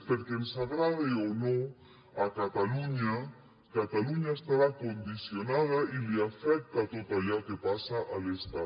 perquè ens agrade o no catalunya estarà condicionada i l’afecta tot allò que passa a l’estat